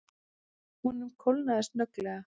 Honum kólnaði snögglega.